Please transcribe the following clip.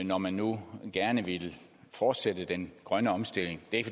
når man nu gerne ville fortsætte den grønne omstilling det er